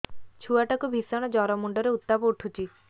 ଛୁଆ ଟା କୁ ଭିଷଣ ଜର ମୁଣ୍ଡ ରେ ଉତ୍ତାପ ଉଠୁଛି